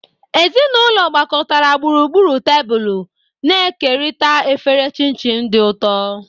Ezinụlọ gbakọtara gburugburu tebụl, na-ekerịta efere chin-chin di ụtọ.